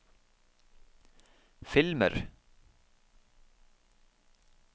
filmer